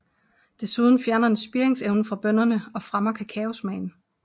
Desuden fjerner den spiringsevnen fra bønnerne og fremmer kakaosmagen